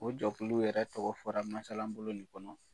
O jɛkulu yɛrɛ tɔgɔ fɔra masala bolo in kɔnɔ.